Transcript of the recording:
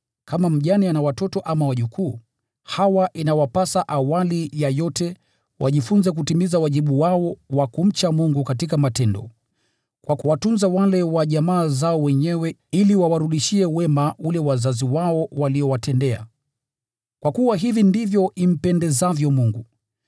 Kama mjane ana watoto ama wajukuu, hawa inawapasa awali ya yote wajifunze kutimiza wajibu wao wa kumcha Mungu katika matendo kwa kuwatunza wale wa jamaa zao wenyewe, na hivyo wawarudishie wema waliowatendea wazazi wao, kwa kuwa hivi ndivyo impendezavyo Mungu.